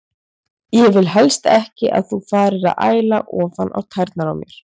Ég vil helst ekki að þú farir að æla ofan á tærnar á mér.